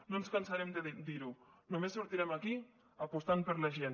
no ens cansarem de dir ho només sortirem d’aquí apostant per la gent